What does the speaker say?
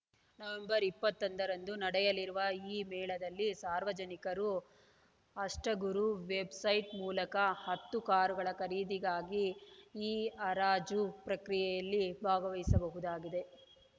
November ಇಪ್ಪತ್ತೊಂದರಂದು ನಡೆಯಲಿರುವ ಈ ಮೇಳದಲ್ಲಿ ಸಾರ್ವಜನಿಕರು ಅಷ್ಠಗುರು ವೆಬ್‌ಸೈಟ್‌ ಮೂಲಕ ಹತ್ತು ಕಾರುಗಳ ಖರೀದಿಗಾಗಿ ಇಹರಾಜು ಪ್ರಕ್ರಿಯೆಯಲ್ಲಿ ಭಾಗವಹಿಸಬಹುದಾಗಿದೆ